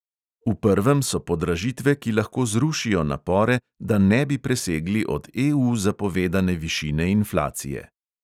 V prvem so podražitve, ki lahko zrušijo napore, da ne bi presegli od EU zapovedane višine inflacije.